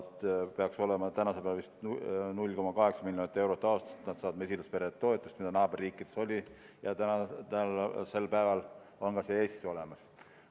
Tänasel päeval peaks mesilaspere toetus olema vist 0,8 miljonit eurot aastas, mis naaberriikides oli ja praegu on see ka Eestis olemas.